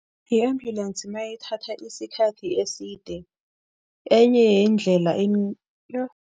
I-ambulance mayithatha isikhathi eside, enye yeendlela yoh.